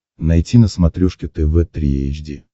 найти на смотрешке тв три эйч ди